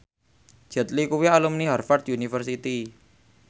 Jet Li kuwi alumni Harvard university